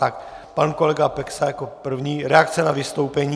Tak pan kolega Peksa jako první - reakce na vystoupení.